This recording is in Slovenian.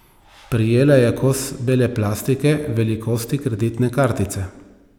Prijela je kos bele plastike, velikosti kreditne kartice.